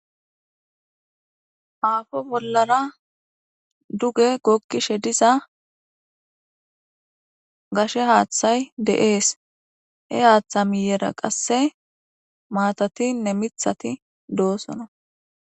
Aafo bollara duge gokkishe diza gashe haaththay de7ees, he haaththa miyera qasse maatatinne mithati doosona.